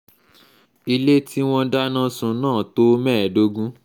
ilé tí wọ́n dáná sun náà tó mẹ́ẹ̀ẹ́dógún